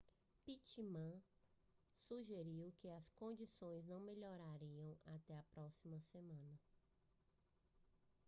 pittman sugeriu que as condições não melhorariam até a próxima semana